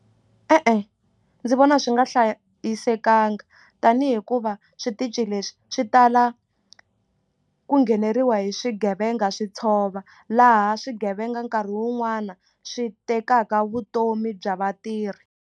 E-e ndzi vona swi nga hlayisekanga tanihi hikuva switichi leswi swi tala ku ngheneriwa hi swigevenga swi tshova laha swigevenga nkarhi wun'wani swi tekaka vutomi bya vatirhi.